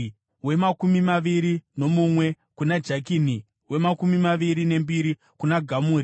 wemakumi maviri nomumwe kuna Jakini, wemakumi maviri nembiri kuna Gamuri,